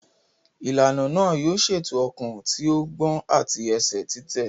Ìlànà náà yóò ṣètò ọkàn tí ó ń gbọ̀n àti ẹsẹ̀ títẹ̀.